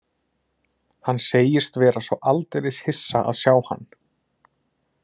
Hann segist vera svo aldeilis hissa að sjá hann.